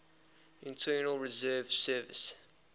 internal revenue service